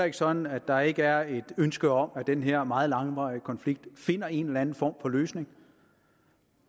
ikke sådan at der ikke er et ønske om at den her meget langvarige konflikt finder en eller anden form for løsning